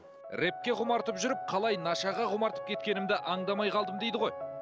рэпке құмартып жүріп қалай нашаға құмартып кеткенімді аңдамай қалдым дейді ғой